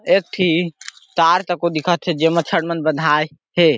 एक ठी तार तकों दिखत हे जेमा छड़ मन बँधाये हे ।